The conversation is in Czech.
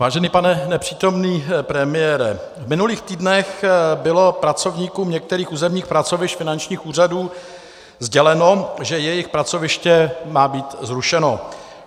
Vážený pane nepřítomný premiére, v minulých týdnech bylo pracovníkům některých územních pracovišť finančních úřadů sděleno, že jejich pracoviště má být zrušeno.